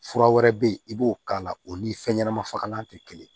Fura wɛrɛ bɛ yen i b'o k'a la o ni fɛn ɲɛnɛma fagalan tɛ kelen ye